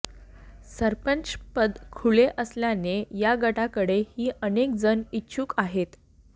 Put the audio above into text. सरपंचपद खुले असल्याने या गटाकडे ही अनेक जण इच्छुक आहेत